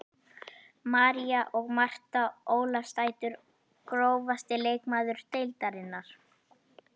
María og Marta Ólafsdætur Grófasti leikmaður deildarinnar?